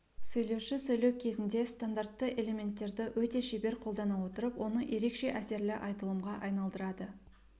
сөйлеуші сөйлеу кезінде стандартты элементтерді өте шебер қолдана отырып оны ерекше әсерлі айтылымға айналдырады